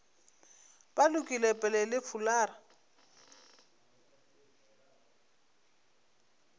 ba lokile pele le fulara